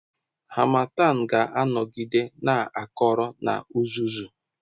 Harmattan ga-anọgide na-akọrọ na uzuzu.